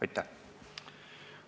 Aitäh!